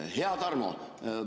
Hea Tarmo!